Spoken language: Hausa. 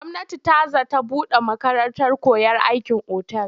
Gwamnati ta za ta buɗe makarantar koyon aikin otal.